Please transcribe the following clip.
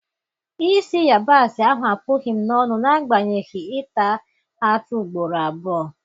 Isi yabasi ahụ apụghị m n'onu na agbanyeghị ịta atụ ugboro abụọ